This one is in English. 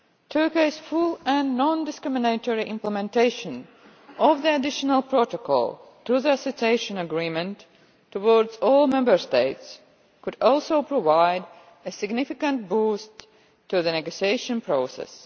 Turkey's full and non discriminatory implementation of the additional protocol to the Association Agreement in respect of all Member States could also provide a significant boost to the negotiation process.